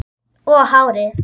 Og hárið.